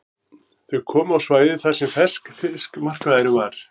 Þau komu á svæðið þar sem ferskfiskmarkaðurinn var.